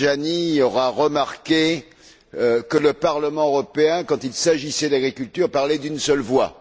Tajani aura remarqué que le Parlement européen, quand il s'agissait d'agriculture, parlait d'une seule voix.